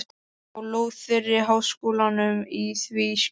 á lóð þeirri háskólanum í því skyni